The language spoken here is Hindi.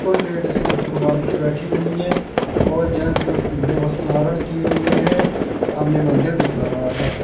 कुल लेडीजें मुकुट बांधके बैठी हुईं हैं और जेंट्स लोग पीले वस्त्र धारण किये हुए हैं सामने मंदिर दिख रहा है।